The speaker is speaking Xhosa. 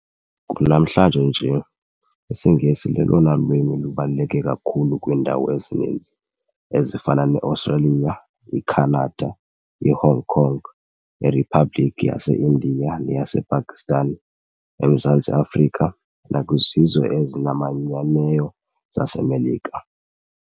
Kunamhlanje nje, isiNgesi lolona lwimi lubaluleke kakhulu kwiindawo ezininzi, ezifana neAustreliya, iKhanada, iHong Kong, kwRhiphabhlikhi yaseIndia neyasePakistan, eMzantsi Afrika, nakwizizwe ezimanyeneyo zaseMelika.